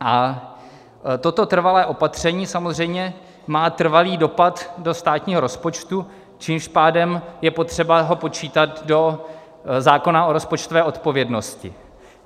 A toto trvalé opatření samozřejmě má trvalý dopad do státního rozpočtu, tím pádem je potřeba ho počítat do zákona o rozpočtové odpovědnosti.